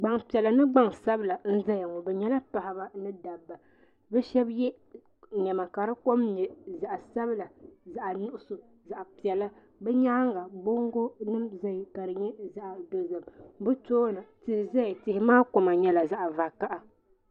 Gbambiɛla ni gbansabla n zaya ŋɔ bɛ nyɛla paɣaba ni dabba bɛ sheba ye niɛma ka di kom nyɛ zaɣa sabila zaɣa nuɣuso zaɣapiɛla bɛ nyaanga bongo nima biɛni ka nyɛ zaɣa dozim tihi zaya tihi maa kama nyɛla zaɣa vakaha.